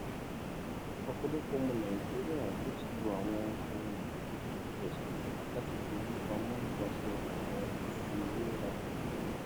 ọpọlọpọ ọmọ nàìjíríà ló ti lo àwọn ohun èlò bíi piggyvest láti fi owó pamọ nípasẹ àwọn ìfiwéra ìdánwò